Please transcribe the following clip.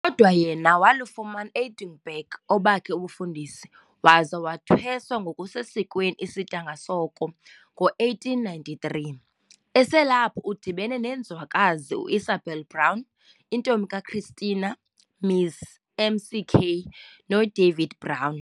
Kodwa yena walufumana eEdinburgh obakhe ubufundisi waza wathwesa ngokusesiskweni isidanga soko ngo1893. Eselapho udibene nenzwakazi u-Isabella Brown, intombi kaChristina, Ms McKay, noDavid Brown.